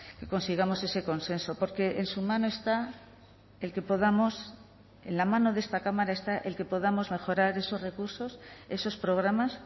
que consigamos ese consenso porque en su mano está el que podamos en la mano de esta cámara está el que podamos mejorar esos recursos esos programas